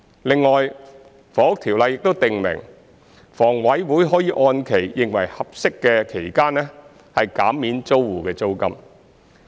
另外，《房屋條例》亦訂明，房委會可按其認為適合的期間，減免租戶的租金。